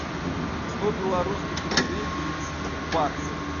сто белорусских рублей перевести в баксы